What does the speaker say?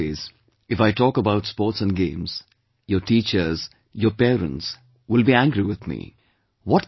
During exam days, if I talk about sports and games, your teachers, your parents will be angry with me